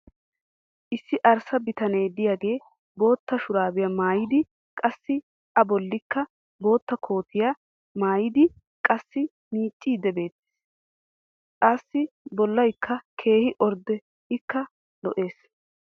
issi arssa bitanee diyaagee bootta shuraabiya maayidi qassi a bolikka koottiya maayidi qassi miiciidi beetees. assi bolaykka keehi ordde ikka lo'ees.